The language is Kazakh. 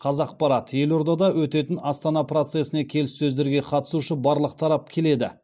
қазақпарат елордада өтетін астана процесіне келіссөздерге қатысушы барлық тарап келеді